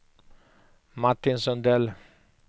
Martin Sundell